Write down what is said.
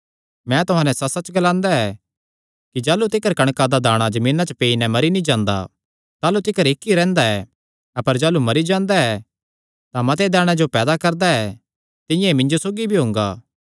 मैं तुहां नैं सच्चसच्च ग्लांदा ऐ कि जाह़लू तिकर कणका दा दाणा जमीना च पेई नैं मरी नीं जांदा ताह़लू तिकर इक्क ई रैंह्दा ऐ अपर जाह़लू मरी जांदा ऐ तां मते दाणेयां जो पैदा करदा ऐ तिंआं ई मिन्जो सौगी भी हुंगा